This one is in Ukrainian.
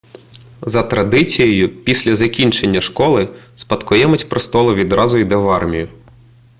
за традицією після закінчення школи спадкоємець престолу відразу йде в армію